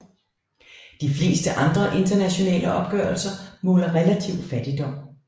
De fleste andre internationale opgørelser måler relativ fattigdom